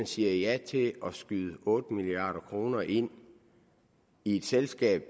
siger ja til at skyde otte milliard kroner ind i selskab